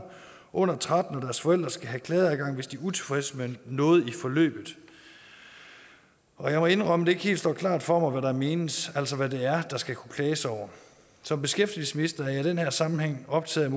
under tretten år og forældre skal have klageadgang hvis de er utilfredse med noget i forløbet og jeg må indrømme at det ikke helt står klart for mig hvad der menes altså hvad det er der skal kunne klages over som beskæftigelsesminister er jeg i den her sammenhæng optaget